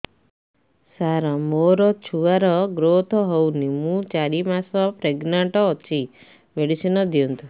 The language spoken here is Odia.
ସାର ମୋର ଛୁଆ ର ଗ୍ରୋଥ ହଉନି ମୁ ଚାରି ମାସ ପ୍ରେଗନାଂଟ ଅଛି ମେଡିସିନ ଦିଅନ୍ତୁ